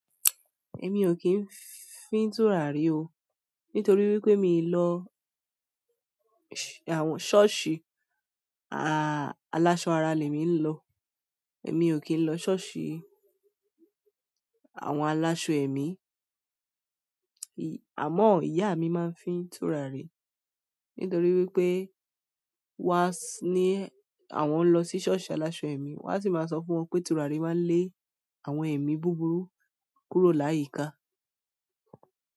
Èmi ò kín fí tùràrí o, nítorí wípé mi lọ ṣọ́ọ̀ṣì aláṣọ ara lè mi ń lọ. Èmi ò kín lọ sọ́ọ̀ṣì àwọn aláṣọ èmi, àmọ́ ìyá mi máa ń fí tùràrí, nítorí wípé wá ní àwọn ń lọ sí sọ́ọ̀ṣì aláṣọ èmi. Wá sì máa sọ fún wọn pé turari máa ń lé àwọn èmi búburú kúrò láyìíká.